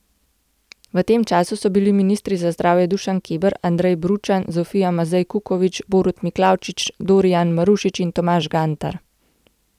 V tem času so bili ministri za zdravje Dušan Keber, Andrej Bručan, Zofija Mazej Kukovič, Borut Miklavčič, Dorijan Marušič in Tomaž Gantar.